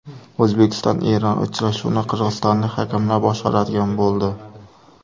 O‘zbekistonEron uchrashuvini qirg‘izistonlik hakamlar boshqaradigan bo‘ldi.